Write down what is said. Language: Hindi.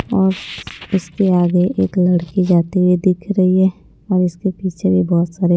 और उसके आगे एक लड़की जाते हुए दिख रही है और इसके पीछे भी बहोत सारे--